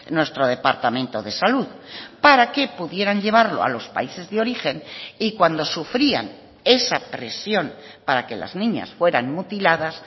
nuestro departamento de salud para que pudieran llevarlo a los países de origen y cuando sufrían esa presión para que las niñas fueran mutiladas